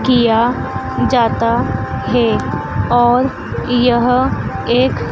किया जाता है और यह एक --